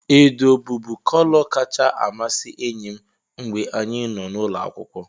Edo bụbu kọlọ kacha amasị enyi m mgbe anyị nọ n'ụlọ akwụkwọ.